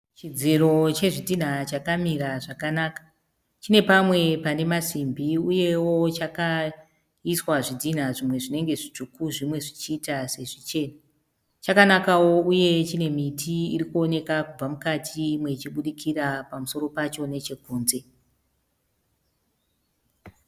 Chidziro chezvidhina chakamira zvakanaka. Chine pamwe pane masimbi uyewo chakaiswa zvidhinha zvimwe zvinenge zvitsvuku zvimwe zvichiita sezvichena. Chakanakawo uye chine miti irikuoneka kubva mukati imwe ichibudikira pamusoro pacho nechekunze.